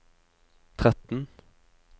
tretten